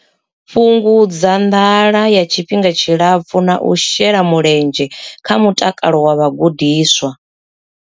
Fhungudza nḓala ya tshifhinga tshilapfu na u shela mulenzhe kha mutakalo wa vhagudiswa.